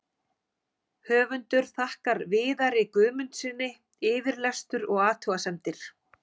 Höfundur þakkar Viðari Guðmundssyni yfirlestur og athugasemdir.